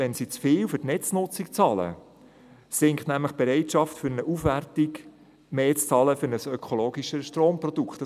Wenn sie für die Netznutzung zu viel bezahlen, sinkt nämlich die Bereitschaft, für eine Aufwertung für ein ökologisches Stromprodukt mehr zu bezahlen.